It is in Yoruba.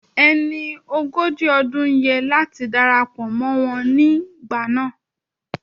Ẹni ogójì ọdún yẹ láti darapọ̀ mọ́ wọn nígbà náà